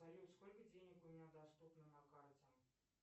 салют сколько денег у меня доступно на карте